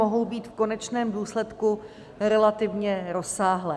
Mohou být v konečném důsledku relativně rozsáhlé.